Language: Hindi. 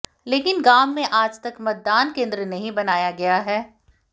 लेकिन गांव में आज तक मतदान केन्द्र नहीं बनाया गया है